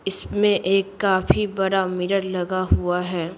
इसमें एक काफी बड़ा मिरर लगा हुआ है।